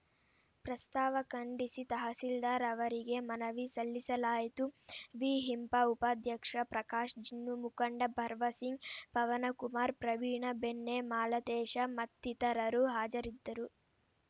ಪ್ರಸ್ತಾವ ಖಂಡಿಸಿ ತಹಸೀಲ್ದಾರ್‌ ಅವರಿಗೆ ಮನವಿ ಸಲ್ಲಿಸಲಾಯಿತು ವಿಹಿಂಪ ಉಪಾಧ್ಯಕ್ಷ ಪ್ರಕಾಶ್‌ ಜಿನ್ನು ಮುಖಂಡ ಭವರ್‌ ಸಿಂಗ್‌ ಪವನಕುಮಾರ್‌ ಪ್ರವೀಣ ಬೆಣ್ಣೆ ಮಾಲತೇಶ ಮತ್ತಿತರರು ಹಾಜರಿದ್ದರು